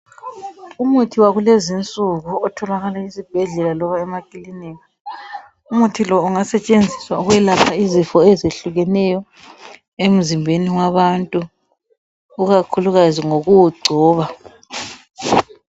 Umuthi wakulezinsuku otholakala esibhedlela loba emakilinika. Umuthi lo ungasetshenziswa ukwelapha izifo ezihlukeneyo emzimbeni wabantu ikakhulukazi ngokuwugcoba.